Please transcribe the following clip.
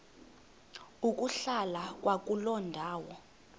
ukuhlala kwakuloo ndawo